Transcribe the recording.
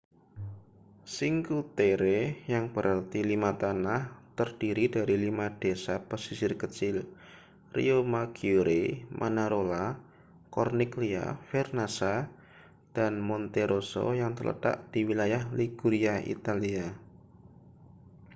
cinque terre yang berarti lima tanah terdiri dari lima desa pesisir kecil riomaggiore manarola corniglia vernazza dan monterosso yang terletak di wilayah liguria italia